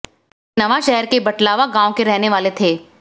वे नवांशहर के पठलावा गांव के रहने वाले थे